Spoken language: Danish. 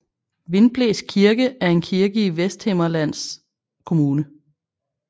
Vindblæs Kirke er en kirke i Vesthimmerlands Kommune